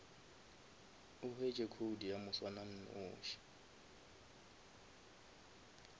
o hwetše code ya moswananoši